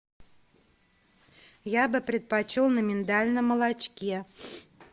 я бы предпочел на миндальном молочке